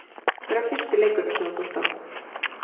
Hver var fyrsti leikurinn sem þú fórst á?